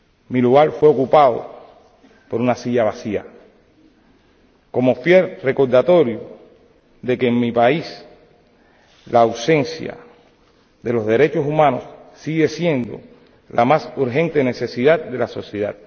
Mi lugar fue ocupado por una silla vacía, como fiel recordatorio de que en mi país la ausencia de los derechos humanos sigue siendo la más urgente necesidad de la sociedad.